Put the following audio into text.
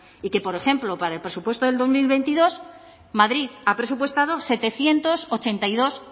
y que por ejemplo para el presupuesto del dos mil veintidós madrid ha presupuestado setecientos ochenta y dos